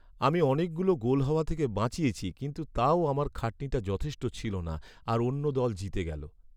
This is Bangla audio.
আমি অনেকগুলো গোল হওয়া থেকে বাঁচিয়েছি কিন্তু তাও আমার খাটনিটা যথেষ্ট ছিল না আর অন্য দল জিতে গেল।